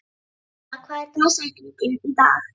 Nella, hver er dagsetningin í dag?